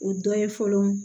O dɔ ye fɔlɔ